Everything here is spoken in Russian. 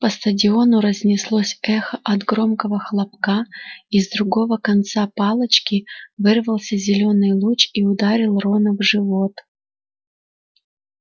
по стадиону разнеслось эхо от громкого хлопка из другого конца палочки вырвался зелёный луч и ударил рона в живот